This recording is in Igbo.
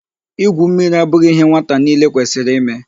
Igwu mmiri abụghị ihe nwata niile kwesịrị ime.